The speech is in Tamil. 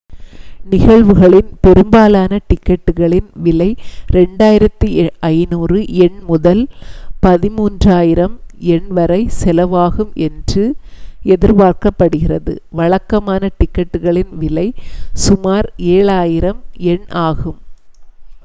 நிகழ்வுகளின் பெரும்பாலான டிக்கெட்டுகளின் விலை 2,500 யென் முதல் 130,000 யென் வரை செலவாகும் என்று எதிர்பார்க்கப்படுகிறது வழக்கமான டிக்கெட்டுகளின் விலை சுமார் 7,000 யென் ஆகும்